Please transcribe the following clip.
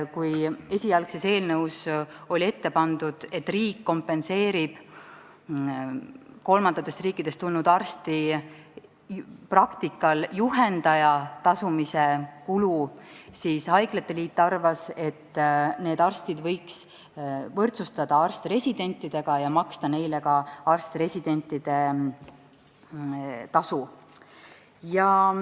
Kui esialgses eelnõus oli ette pandud, et riik kompenseerib kolmandatest riikidest tulnud arstide praktika juhendaja tasu, siis haiglate liit arvas, et need arstid võiks võrdsustada arst-residentidega ja maksta neile ka arst-residentide tasu.